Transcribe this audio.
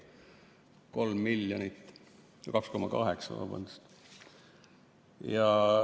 Kolm miljonit, 2,8 miljonit, vabandust!